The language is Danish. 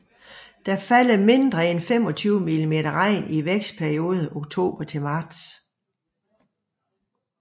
Der falder mindre end 25 mm regn i vækstperioden oktober til marts